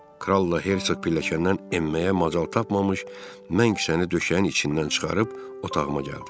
Kral la Hercoq pilləkəndən enməyə macal tapmamış, mən kisəni döşəyin içindən çıxarıb otağıma gəldim.